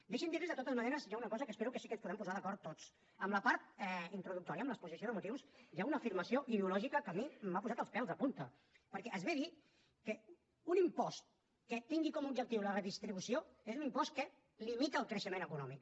deixin me dir los de totes maneres que hi ha una cosa en què espero que sí que ens puguem posar d’acord tots en la part introductòria en l’exposició de motius hi ha una afirmació ideològica que a mi m’ha posat els pèls de punta perquè es ve a dir que un impost que tingui com a objectiu la redistribució és un impost que limita el creixement econòmic